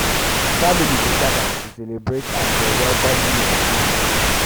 um family dey gather to celebrate as dem welcome new pikin.